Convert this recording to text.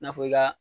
I n'a fɔ i ka